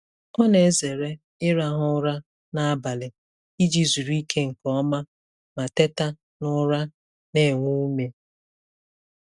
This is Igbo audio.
Ọ na-ezere ịrahụ ụra n'abalị iji zuru ike nke ọma ma teta n'ụra na-enwe ume.